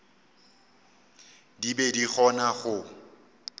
di be di kgona go